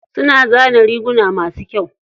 Suna zana riguma masu kyau.